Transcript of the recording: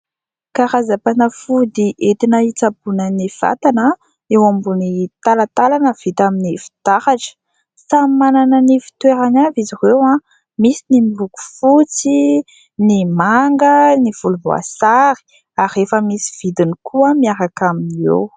Karazam-panafody entina hitsaboana ny vatana eo ambony talantalana vita amin'ny fitaratra. Samy manana ny fitoerany avy izy ireo, misy ny miloko fotsy, ny manga, ny volomboasary ary efa misy vidiny koa miaraka aminy eo.